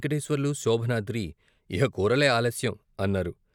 వెంకటేశ్వర్లు, శోభనాద్రి ''ఇహ కూరలే ఆలస్యం" అన్నారు.